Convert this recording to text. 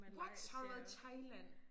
What har du været i Thailand?